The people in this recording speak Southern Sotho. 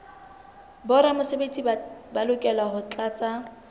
boramesebetsi ba lokela ho tlatsa